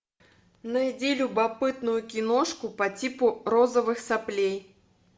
найди любопытную киношку по типу розовых соплей